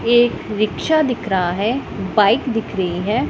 एक रिक्शा दिख रहा है बाइक दिख रही है।